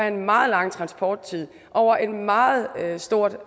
en meget lang transporttid over et meget stort